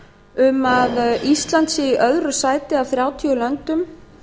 um að ísland sé í öðru sæti af þrjátíu löndum